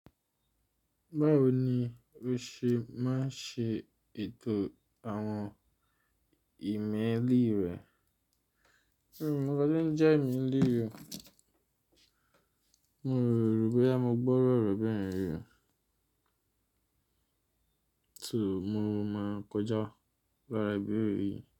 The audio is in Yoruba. Báwo ni o ṣe máa ń ṣe ètò àwọn ìmẹ́lì rẹ̀? Ẹ mi ò mọ ǹkan tó ń jẹ ìmẹ́lì yìí o. Mi ò rò bóyá mo gbọ́ irú ọ̀rọ̀ bẹ́yẹn rí o so mo máa kọjá lára ìbẹ̀rẹ̀ yìí.